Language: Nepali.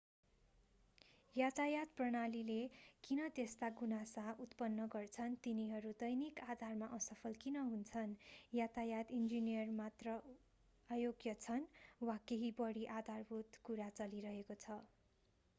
यातायात प्रणालीले किन त्यस्ता गुनासा उत्पन्न गर्छन् तिनीहरू दैनिक आधारमा असफल किन हुन्छन्‌? यातायात इन्जिनियर मात्र अयोग्य छन्? वा केही बढी आधारभूत कुरा चलिरहेको छ?